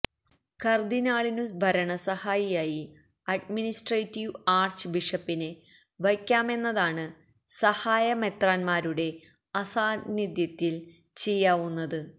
കര്ദിനാളിനു ഭരണസഹായിയായി administrative arch ബിഷപ്പിനെ വയ്ക്കാമെന്നതാണ് സഹായമെത്രാന്മാരുടെ അസാന്നിധ്യത്തില് ചെയ്യാവുന്നത്